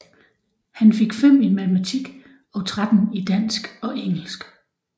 Han fik 5 i Matematik og 13 i Dansk og Engelsk